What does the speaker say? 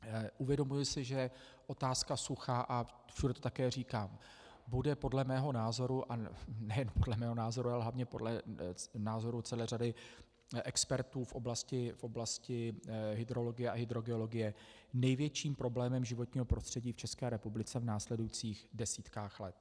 Uvědomuji si, že otázka sucha, a všude to také říkám, bude podle mého názoru, a nejen podle mého názoru, ale hlavně podle názoru celé řady expertů v oblasti hydrologie a hydrogeologie, největším problémem životního prostředí v České republice v následujících desítkách let.